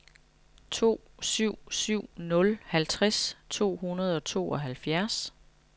to syv syv nul halvtreds to hundrede og tooghalvfjerds